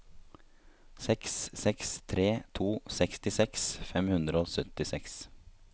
seks seks tre to sekstiseks fem hundre og syttiseks